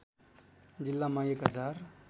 जिल्लामा एक हजार